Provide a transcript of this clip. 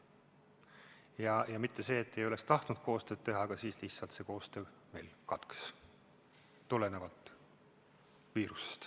Mitte seetõttu, et enam ei oleks tahetud koostööd teha, aga siis lihtsalt see koostöö meil katkes, tulenevalt viirusest.